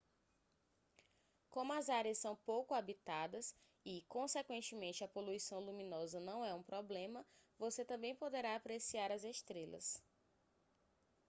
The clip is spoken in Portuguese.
como as áreas são pouco habitadas e consequentemente a poluição luminosa não é um problema você também poderá apreciar as estrelas